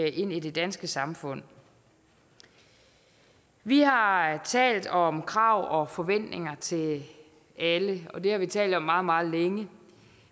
i det danske samfund vi har talt om krav og forventninger til alle det har vi talt om meget meget længe